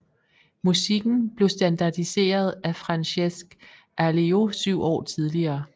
Musikken blev standardiseret af Francesc Alió syv år tidligere